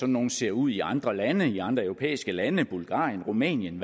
nogle ser ud i andre lande i andre europæiske lande bulgarien rumænien